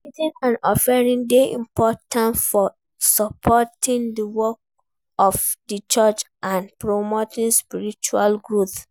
Tithing and offering dey important for supporting di work of di church and promoting spiritual growth.